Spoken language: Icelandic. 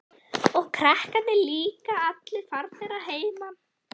Og krakkarnir líka allir farnir að heiman.